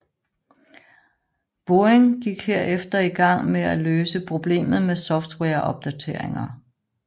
Boeing gik herefter i gang med at løse problemet med softwareopdateringer